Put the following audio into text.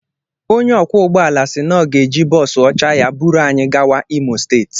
Onye ọkwọ ụgbọala sị na ọ ga-eji bọọsu ọcha ya buru anyị gawa Imo steeti